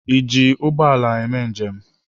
Ị ji ụgbọ ala eme njem?